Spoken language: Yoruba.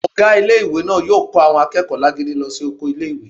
Ọgá ilé-ìwé náà yóò kó àwọn akẹ́kọ̀ọ́ alágídí náà lọ sí oko ilé-ìwé